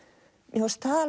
mér fannst það